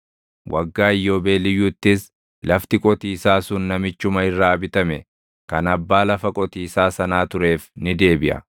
Waggaa Iyyoobeeliyyuuttis lafti qotiisaa sun namichuma irraa bitame kan abbaa lafa qotiisaa sanaa tureef ni deebiʼa.